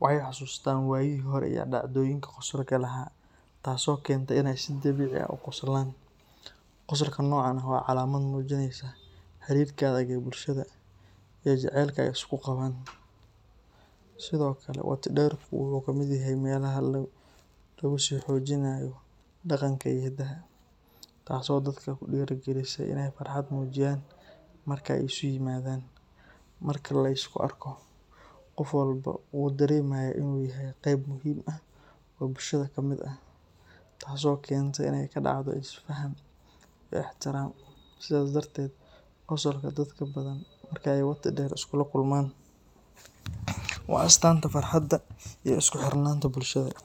waxay xasuustaan waayihii hore iyo dhacdooyinka qosolka lahaa, taasoo keenta in ay si dabiici ah u qoslaan. Qosolka noocan ah waa calaamad muujinaysa xiriirka adag ee bulshada iyo jacaylka ay isu qabaan. Sidoo kale, wati dherku wuxuu ka mid yahay meelaha lagu sii xoojinayo dhaqanka iyo hidaha, taasoo dadka ku dhiirrigelisa in ay farxad muujiyaan marka ay isu yimaadaan. Marka la isku arko, qof walba wuu dareemaa in uu yahay qeyb muhiim ah oo bulshada ka mid ah, taasoo keenta in ay ka dhacdo is faham iyo is ixtiraam. Sidaas darteed, qosolka dadka Badhan marka ay wati dher iskula kulmaan waa astaanta farxadda iyo isku xirnaanta bulshada.